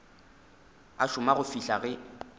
a šoma go fihla ge